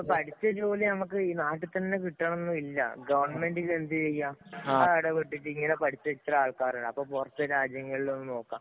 പഠിച്ച ജോലി നമ്മക്ക് ഈ നാട്ടില്‍ തന്നെ കിട്ടണമെന്നില്ല. ഗവണ്മെന്‍റിന് എന്ത് ചെയ്യാം. ഇടപെട്ടിട്ട് ഇങ്ങനെ പഠിച്ച ഇത്ര ആള്‍ക്കാര് ഉണ്ട്. അപ്പൊ പുറത്തെ രാജ്യങ്ങളിലൊന്നു നോക്കാം.